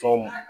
Tɔw ma